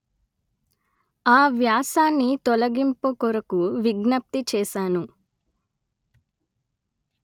ఆ వ్యాసాన్ని తొలగించడం కొరకు విజ్ఞప్తి చేసాను